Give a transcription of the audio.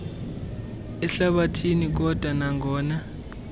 ehlabathini kodwa nangona